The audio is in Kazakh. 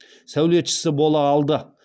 сәулетшісі бола алды